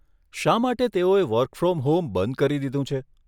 શા માટે તેઓએ વર્ક ફ્રોમ હોમ બંધ કરી દીધું છે?